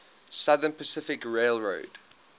southern pacific railroad